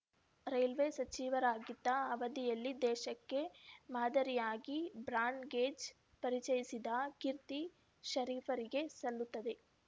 railway ಸಚಿವರಾಗಿದ್ದ ಅವಧಿಯಲ್ಲಿ ದೇಶಕ್ಕೇ ಮಾದರಿಯಾಗಿ ಬ್ರಾಡ್‌ಗೇಜ್‌ ಪರಿಚಯಿಸಿದ ಕೀರ್ತಿ ಷರೀಫರಿಗೆ ಸಲ್ಲುತ್ತದೆ